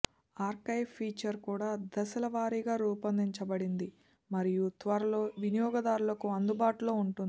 archive feature కూడా దశలవారీగా రూపొందించబడింది మరియు త్వరలో వినియోగదారులకు అందుబాటులో ఉంటుంది